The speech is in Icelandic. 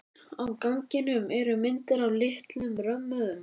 Á ganginum eru myndir í litlum römmum.